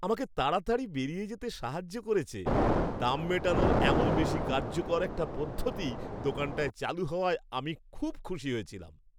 আমাকে তাড়াতাড়ি বেরিয়ে যেতে সাহায্য করেছে, দাম মেটানোর এমন বেশি কার্যকর একটা পদ্ধতি দোকানটায় চালু হওয়ায় আমি খুব খুশি হয়েছিলাম।